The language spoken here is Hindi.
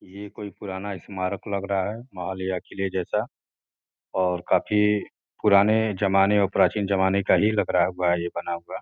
ये कोई पुराना स्मारक लग रहा है महल या किले जैसा और काफी पुराने ज़माने और प्राचीन जमाने का ही लग रहा हुआ है ये बना हुआ।